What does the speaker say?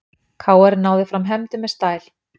KR náði fram hefndum með stæl